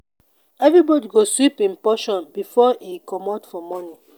everybodi go sweep im portion before e comot for morning.